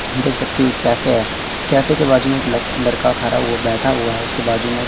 देख सकते हो एक कैफे है कैफे के बाजू में एक लक लड़का खड़ा हुआ बैठा हुआ है उसके बाजू में--